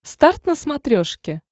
старт на смотрешке